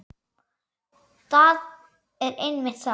Það er einmitt það.